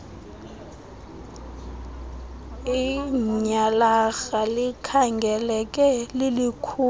ityhalarha likhangeleka lilikhulu